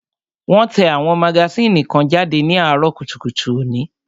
Wón tẹ àwọn magasínì kan jáde ní àárọ̀ kùtùkùtù òní